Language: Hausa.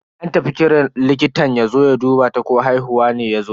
An tafi kiran likitan yazo ya duba ta ko haihuwa ne yazo.